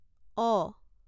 অ